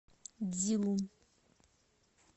цзилун